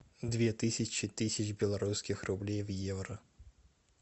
две тысячи тысяч белорусских рублей в евро